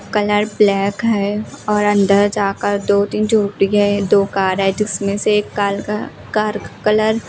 colour black है और अंदर जाकर दो तीन है दो कार है जिसमें से एक कार का कार का कलर --